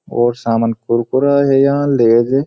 और सामान कुरकुरा है याँ लेज ।